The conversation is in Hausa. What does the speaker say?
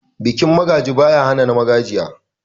Bikin Magaji, baya hana na Magajiya.